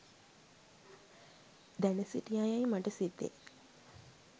දැන සිටියා යැයි මට සිතේ.